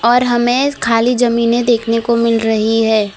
और हमें खाली जमीनें देखने को मिल रही हैं।